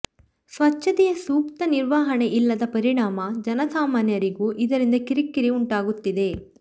ಸ್ವತ್ಛತೆಯ ಸೂಕ್ತ ನಿರ್ವಹಣೆ ಇಲ್ಲದ ಪರಿಣಾಮ ಜನಸಾಮಾನ್ಯರಿಗೂ ಇದರಿಂದ ಕಿರಿಕಿರಿ ಉಂಟಾಗುತ್ತಿದೆ